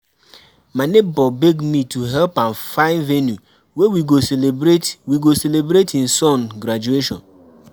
my nebor beg me to help am find venue wey we go celebrate we go celebrate him son graduation.